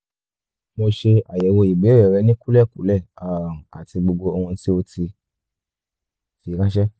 mo ṣe àyẹ̀wò ìbéèrè rẹ ní kúlẹ̀kúlẹ̀ um àti gbogbo ohun tí o ti fi ránṣé